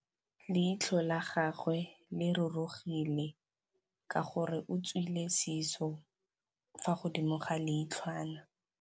Leitlhô la gagwe le rurugile ka gore o tswile sisô fa godimo ga leitlhwana.